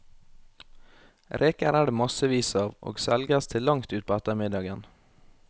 Reker er det massevis av, og selges til langt utpå ettermiddagen.